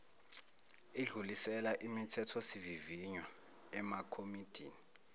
idlulisela imithethosivivinywa emakomidini